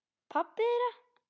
Pabbi þeirra?